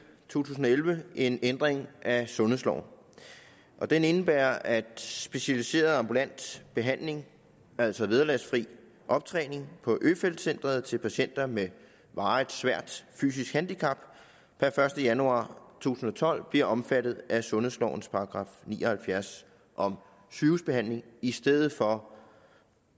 tusind og elleve en ændring af sundhedsloven den indebærer at specialiseret ambulant behandling altså vederlagsfri optræning på øfeldt centret til patienter med varigt svært fysisk handicap per første januar to tusind og tolv bliver omfattet af sundhedslovens § ni og halvfjerds om sygehusbehandling i stedet for